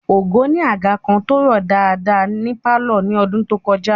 Ògo ni àga kan tó rọ̀ dáadáa ní pálọ̀ ní ọdún tó kọjá